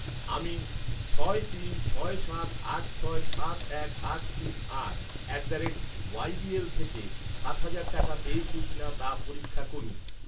আমি ছয় তিন ছয় সাত আট ছয় সাত এক আট তিন আট at the rate Y B L থেকে সাত হাজার টাকা পেয়েছি কিনা তা পরীক্ষা করুন।